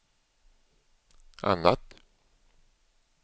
annat